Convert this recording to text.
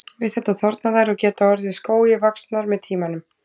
Við þetta þorna þær og geta orðið skógi vaxnar með tímanum.